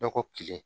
Dɔgɔ kelen